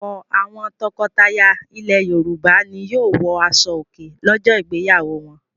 Ọ̀pọ̀ àwọn tọkọtaya ilẹ̀ Yorùbá ni yóò wọ aṣọòkè lọ́jọ́ ìgbéyàwó wọn.